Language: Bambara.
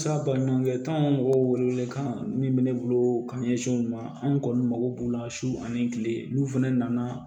Sa baɲumankɛ tɔnw mɔgɔ welewele kan min bɛ ne bolo ka ɲɛsin u ma an kɔni mako b'u la su ani kile n'u fɛnɛ nana